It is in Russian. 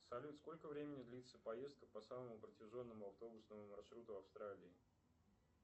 салют сколько времени длится поездка по самому протяженному автобусному маршруту австралии